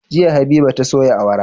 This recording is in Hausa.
Jiya habiba ta soya awara